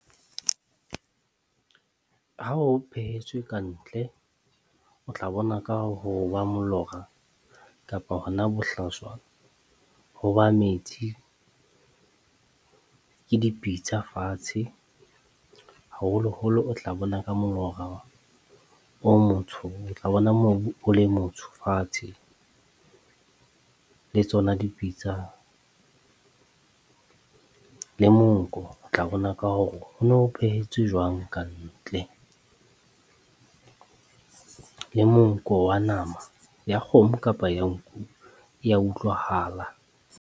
Ha o phehetswe ka ntle, o tla bona ka ho ba molora kapa hona bohlaswa ho ba metsi. Ke dipitsa fatshe, haholoholo o tla bona ka molora o motsho. O tla bona mobu o le motsho fatshe, le tsona dipitsa le monko, o tla bona ka hore ho no phehetswe jwang ka ntle. Le monko wa nama ya kgomo kapa ya nku, e ya utlwahala.